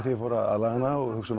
ég fór aðlaga hana og hugsa